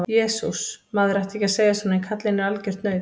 Jesús, maður ætti ekki að segja svona en karlinn er algjört naut.